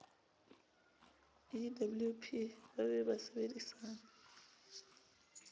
ewp e be ba sebedisana